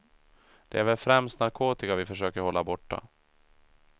Det är väl främst narkotika vi försöker hålla borta.